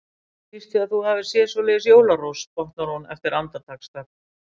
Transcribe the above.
Ég býst við að þú hafir séð svoleiðis jólarós, botnar hún eftir andartaksþögn.